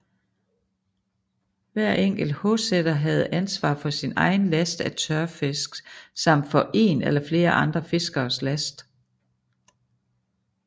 Hver enkelt håseter havde ansvar for sin egen last af tørfisk samt for én eller flere andre fiskeres last